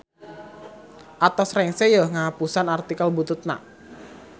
Atos rengse yeuh ngahapusan artikel bututna.